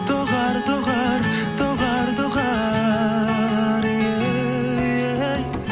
доғар доғар доғар доғар ей ей